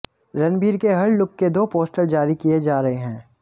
रणबीर के हर लुक के दो पोस्टर जारी किए जा रहे हैं